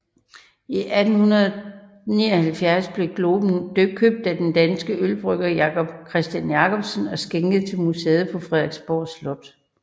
I 1879 blev globen købt af den danske ølbrygger Jacob Christian Jacobsen og skænket til museet på Frederiksborg Slot